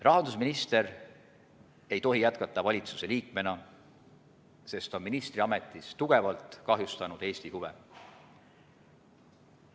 Rahandusminister ei tohi jätkata valitsuse liikmena, sest ta on ministriametis tugevalt kahjustanud Eesti huve.